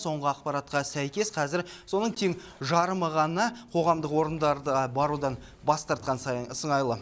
соңғы ақпаратқа сәйкес қазір соның тең жарымы ғана қоғамдық орындарға барудан бас тартқан сайын сыңайлы